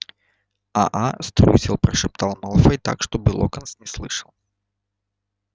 а а струсил прошептал малфой так чтобы локонс не слышал